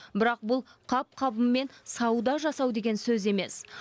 бірақ бұл қап қабымен сауда жасау деген сөз емес